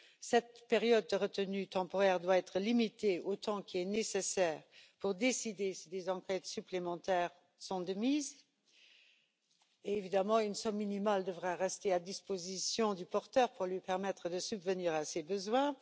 Cette période de retenue temporaire doit être limitée au temps nécessaire pour décider si des enquêtes supplémentaires sont de mise, et évidemment une somme minimale devrait rester à disposition du porteur pour lui permettre de subvenir à ses besoins.